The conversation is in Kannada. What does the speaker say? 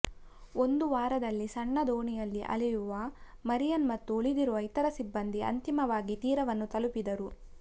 ಒಂದು ವಾರದಲ್ಲಿ ಸಣ್ಣ ದೋಣಿಯಲ್ಲಿ ಅಲೆಯುವ ಮರಿಯನ್ ಮತ್ತು ಉಳಿದಿರುವ ಇತರ ಸಿಬ್ಬಂದಿ ಅಂತಿಮವಾಗಿ ತೀರವನ್ನು ತಲುಪಿದರು